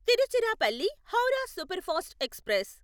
Tiruchirappalli Howrah superfast express